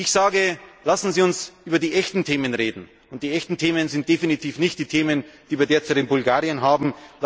Ich sage Lassen Sie uns über die echten Themen reden, und die echten Themen sind definitiv nicht die Themen, die wir derzeit in Bulgarien haben.